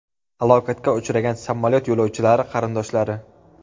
Halokatga uchragan samolyot yo‘lovchilari qarindoshlari.